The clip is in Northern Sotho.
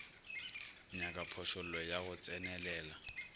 nyaka phošollo ya go tsenelela